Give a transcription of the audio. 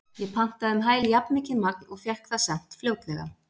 Ég pantaði um hæl jafnmikið magn og fékk það sent fljótlega.